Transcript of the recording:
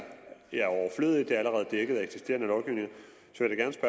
dækket af eksisterende lovgivning at